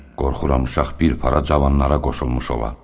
Əminə, qorxuram uşaq bir para cavanlara qoşulmuş ola.